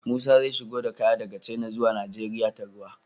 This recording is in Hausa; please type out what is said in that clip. Musa zai shigo da kaya daka china zuwa nigeria ta ruwa